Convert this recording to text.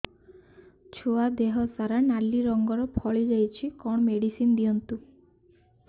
ଛୁଆ ଦେହ ସାରା ନାଲି ରଙ୍ଗର ଫଳି ଯାଇଛି କଣ ମେଡିସିନ ଦିଅନ୍ତୁ